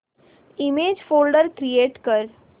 image folder create कर